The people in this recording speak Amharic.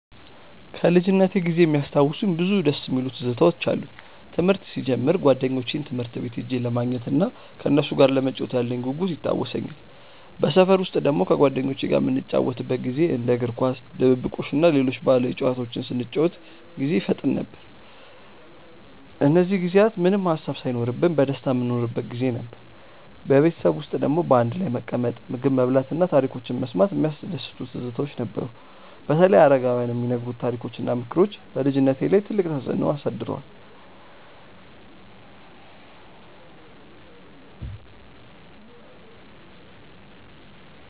ከልጅነቴ ጊዜ የሚያስታውሱኝ ብዙ ደስ የሚሉ ትዝታዎች አሉኝ። ትምህርት ሲጀምር ጓደኞቼን ትምህርት ቤት ሄጄ ለማግኘት እናም ከነሱ ጋር ለመጫወት ያለኝ ጉጉት ይታወሰኛል። በሰፈር ውስጥ ደግሞ ከጓደኞቼ ጋር የምንጫወትበት ጊዜ እንደ እግር ኳስ፣ ድብብቆሽ እና ሌሎች ባህላዊ ጨዋታዎች ስንጫወት ጊዜ ይፈጠን ነበር። እነዚህ ጊዜያት ምንም ሃሳብ ሳይኖርብን በደስታ የምንኖርበት ጊዜ ነበር። በቤተሰብ ውስጥ ደግሞ በአንድ ላይ መቀመጥ፣ ምግብ መብላት እና ታሪኮች መስማት የሚያስደስቱ ትዝታዎች ነበሩ። በተለይ አረጋውያን የሚነግሩት ታሪኮች እና ምክሮች በልጅነቴ ላይ ትልቅ ተፅዕኖ አሳድረዋል።